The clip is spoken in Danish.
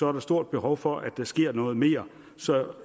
er der stort behov for at der sker noget mere så